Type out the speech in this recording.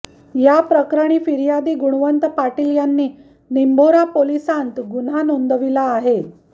या प्रकरणी फिर्यादी गुणवंत पाटील यांनी निंभोरा पोलिसांत गुन्हा नोंदविला आहे